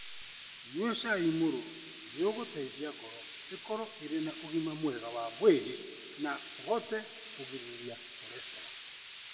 Nyua cai mũruru nĩ ũgũteithia ngoro ĩkorũo ĩrĩ na ũgima mwega wa mwĩrĩ na ũhote kũgirĩrĩria korecitrol.